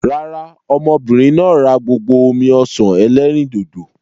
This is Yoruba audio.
Rárá, ọmọbìnrin náà rà gbogbo omi-ọsan ẹlẹ́rìndòdò.